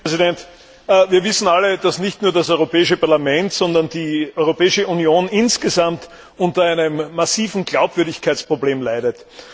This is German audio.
Herr Präsident! Wir wissen alle, dass nicht nur das Europäische Parlament, sondern die Europäische Union insgesamt unter einem massiven Glaubwürdigkeitsproblem leidet.